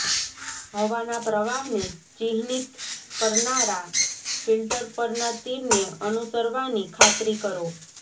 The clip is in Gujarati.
હવાના પ્રવાહને ચિહ્નિત કરનારા ફિલ્ટર પરના તીરને અનુસરવાની ખાતરી કરો